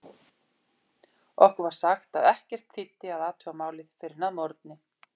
Okkur var sagt að ekkert þýddi að athuga málið fyrr en að morgni.